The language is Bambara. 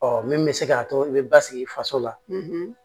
Ɔ min bɛ se k'a to i bɛ basigi i faso la